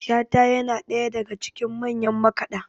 shata yana ɗaya daga cikin manyan makaɗa